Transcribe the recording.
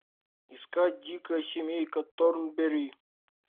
искать дикая семейка торнберри